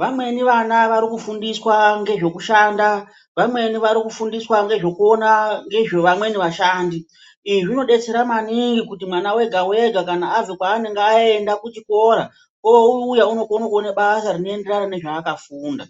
vamweni vana varikufundiswa ngezvekushanda, vamweni varikufundiswa ngezvekuona ngezvevamweni vashandi izvi zvinodetsera maningi kuti mwana wega wega kuti abva kwaanenge aenda kuchikora oouya unokone kuona basa rinoenderana nezvaakafunda.